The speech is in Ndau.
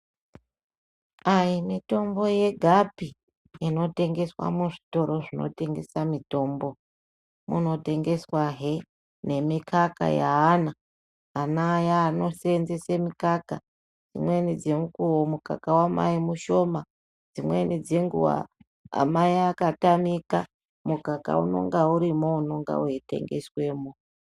Ayi mitombo yega pii inotengeswa muzvitoro zvinotengeswa mitombo, munotengeswa hee nemikaka yaana ana aya anoseenzese mikaka, imweni dzenguva mukaka waamai mushoma, dzimweni dzenguva amai akatamika mukaka unenge urimwo unenge weitengesemwo.